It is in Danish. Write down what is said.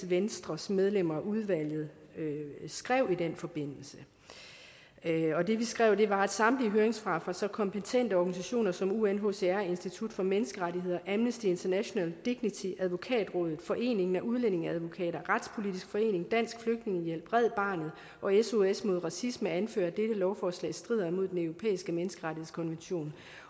venstres medlemmer af udvalget skrev i den forbindelse og det vi skrev var samtlige høringssvar fra så kompetente organisationer som unhcr institut for menneskerettigheder amnesty international dignity advokatrådet foreningen af udlændingeadvokater retspolitisk forening dansk flygtningehjælp red barnet og sos mod racisme anfører at dette lovforslag strider imod den europæiske menneskerettighedskonvention